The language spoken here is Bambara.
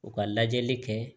U ka lajɛli kɛ